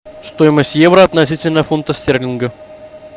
стоимость евро относительно фунта стерлинга